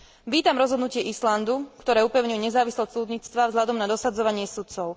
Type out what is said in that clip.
Vítam rozhodnutie Islandu, ktoré upevňuje nezávislosť súdnictva vzhľadom na dosadzovanie sudcov.